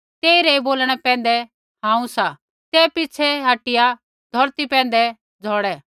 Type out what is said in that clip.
तेई रै ऐ बोलणे पैंधै हांऊँ सा तै पिछ़ै हटिया धौरती पैंधै झौड़े